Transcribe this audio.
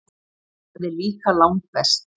Það er líka langbest.